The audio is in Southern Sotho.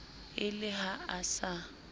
e le ha a sa